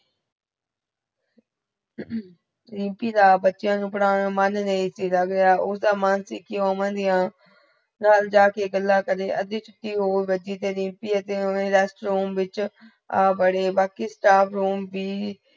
ਅਹ ਰੀਮਪੀ ਦਾ ਬਚੇਯਾ ਨੁ ਪੜ੍ਹਨ ਮਨ ਨਹੀਂ ਸੀਗਾ ਉਸ ਦਾ ਮਨ ਸੀਕੀ ਵੋ ਅਮਨ ਦੀਆ ਨਾਲ ਜਾਕੇ ਗਲਾ ਕਰੇ ਅਧੀ ਛੁਟੀ ਹੋ ਬਜੀ ਤੇ ਰੀਮਪੀ ਆ ਬੜੇ ਬਾਕੀ staff room ਭੀ